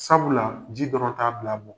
Sabula ji dɔrɔn t'a bila mɔgɔ